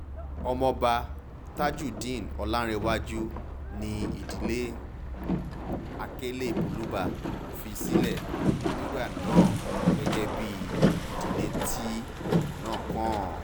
ọmọọba tajudeen ọ̀làǹrẹ̀wájú ni ìdílé ni ìdílé akelelúbá fi sílẹ̀ nígbà náà gẹ́gẹ́ bíi ìdílé tí ipò náà kàn